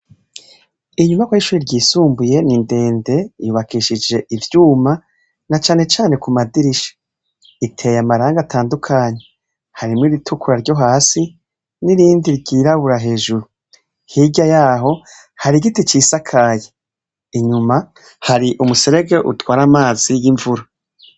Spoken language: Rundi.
Inyubakwa y'ishure ryisumbuye ni ndende yubakishije ivyuma, na cane cane ku madirisha ,iteye amarangi atandukanye, harimwo iritukura ryo hasi, n'irindi ryirabura hejuru , hirya yaho hari igiti cisakaye inyuma hari umuserege utwara amazi y'imvura.